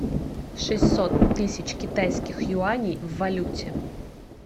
шестьсот тысяч китайских юаней в валюте